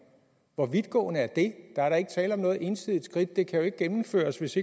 hvor vidtgående er det der er da ikke tale om noget ensidigt skridt det kan jo ikke gennemføres hvis